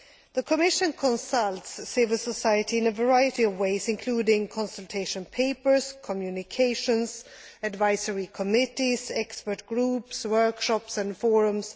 The Commission consults civil society in a variety of ways, including consultation papers, communications, advisory committees, expert groups, workshops and forums.